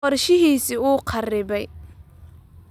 Qorshihiisii ​​wuu kharibay